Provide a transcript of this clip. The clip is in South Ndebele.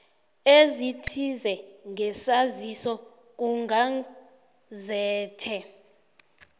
ezithize ngesaziso kugazethe